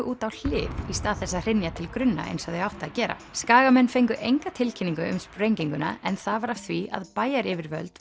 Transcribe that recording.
út á hlið í stað þess að hrynja til grunna eins og þau áttu að gera Skagamenn fengu engu tilkynningu um sprenginguna en það var af því að bæjaryfirvöld